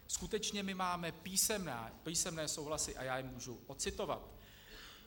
Skutečně, my máme písemné souhlasy a já je můžu ocitovat.